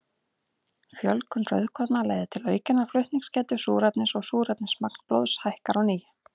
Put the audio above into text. Fjölgun rauðkorna leiðir til aukinnar flutningsgetu súrefnis og súrefnismagn blóðs hækkar á ný.